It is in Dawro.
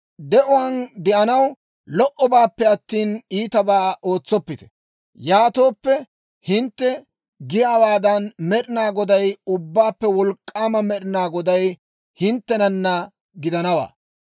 De'uwaan de'anaw lo"obaappe attina, iitabaa ootsoppite; yaatooppe, hintte giyaawaadan, Med'inaa Goday, Ubbaappe Wolk'k'aama Med'inaa Goday hinttenana gidanawaa.